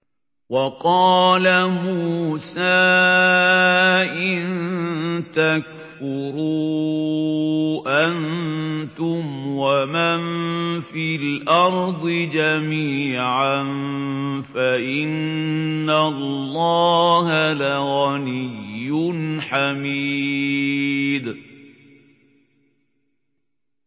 وَقَالَ مُوسَىٰ إِن تَكْفُرُوا أَنتُمْ وَمَن فِي الْأَرْضِ جَمِيعًا فَإِنَّ اللَّهَ لَغَنِيٌّ حَمِيدٌ